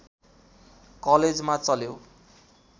कलेजमा चल्यो